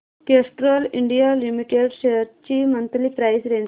Castrol India limited shares ची monthly price range